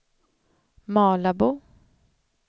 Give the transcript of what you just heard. Malabo